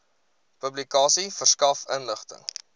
publikasie verskaf inligting